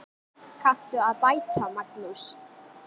Kanntu að bæta, Magnús?